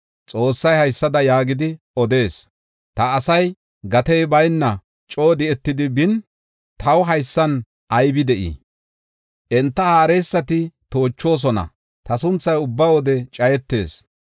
Xoossay haysada yaagidi odees: Ta asay gatey bayna coo di7etidi bin, taw haysan aybe de7ey? Enta haareysati toochoosona; ta sunthay ubba wode cayetees.